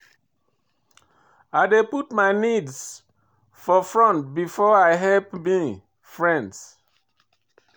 I dey put my need for front before I help me friends.